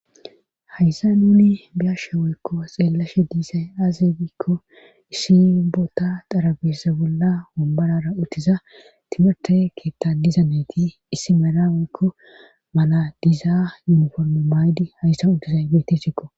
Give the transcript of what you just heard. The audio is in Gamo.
hayssa nuuni biyashe woykko xeellashe diisay aaze giikko issi boota xarabeza bolla wombarara uttiza timirte keetta diza nati issi meera woykko mala diizaa yuniforme maydi hayssa utizay beetesikko